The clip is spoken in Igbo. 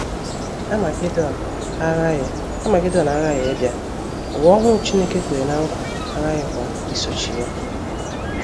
Amagedọn aghaghị Amagedọn aghaghị ịbịa, ụwa ọhụrụ Chineke kwere ná nkwa aghaghịkwa isochi ya.